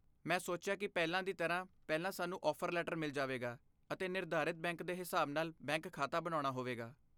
ਮੈਂ ਸੋਚਿਆ ਕਿ ਪਹਿਲਾਂ ਦੀ ਤਰ੍ਹਾਂ, ਪਹਿਲਾਂ ਸਾਨੂੰ ਆਫਰ ਲੈਟਰ ਮਿਲ ਜਾਵੇਗਾ ਅਤੇ ਨਿਰਧਾਰਤ ਬੈਂਕ ਦੇ ਹਿਸਾਬ ਨਾਲ ਬੈਂਕ ਖਾਤਾ ਬਣਾਉਣਾ ਹੋਵੇਗਾ।